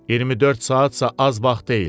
24 saatsa az vaxt deyil.